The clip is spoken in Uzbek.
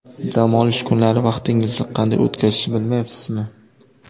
Dam olish kunlari vaqtingizni qanday o‘tkazishni bilmayapsizmi?